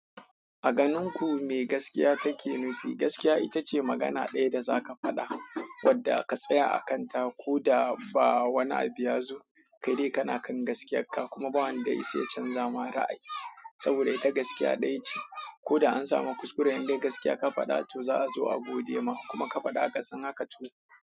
A ganin ku me gaskiya take nufi? Gaskiya ita ce magana ɗaya da za ka faɗa wadda ka tsaya a kanta ko da ba wani abu ya zo. Kai dai kana kan gaskiyarka kuma ba wanda ya isa ya canza ma ra'ayi saboda ita gaskiya ɗaya ce. Ko da an samu kuskure in dai gaskiya ka faɗa to za a zo a gode ma in kuma ka faɗa akasin haka to.